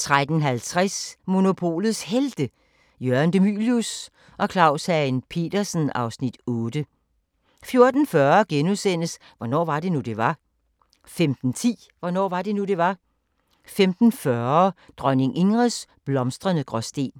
13:50: Monopolets Helte – Jørgen De Mylius og Claus Hagen Petersen (Afs. 8) 14:40: Hvornår var det nu, det var? * 15:10: Hvornår var det nu, det var? 15:40: Dronning Ingrids blomstrende Gråsten